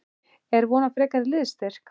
Er von á frekari liðsstyrk?